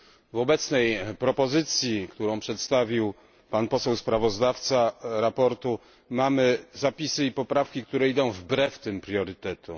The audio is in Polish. W obecnej propozycji, którą przedstawił poseł sprawozdawca, mamy zapisy i poprawki, które idą wbrew tym priorytetom.